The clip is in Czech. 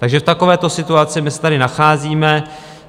Takže v takovéto situaci my se tady nacházíme.